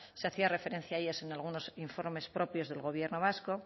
se hacía referencia a ellas en algunos informes propios del gobierno vasco